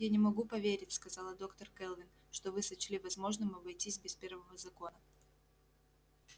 я не могу поверить сказала доктор кэлвин что вы сочли возможным обойтись без первого закона